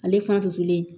Ale fan sulen